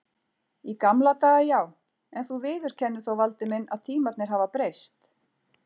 Í gamla daga já, en þú viðurkennir þó Valdi minn að tímarnir hafa breyst.